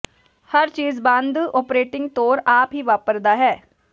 ਹਰ ਚੀਜ਼ ਬੰਦ ਓਪਰੇਟਿੰਗ ਤੌਰ ਆਪ ਹੀ ਵਾਪਰਦਾ ਹੈ